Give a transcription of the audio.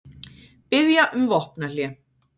Biðja um vopnahlé